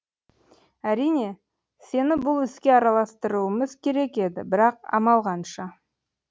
әрине сені бұл іске араластырмауымыз керек еді бірақ амал қанша